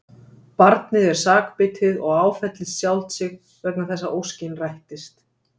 Barnið er sakbitið og áfellist sjálft sig vegna þess að óskin rættist.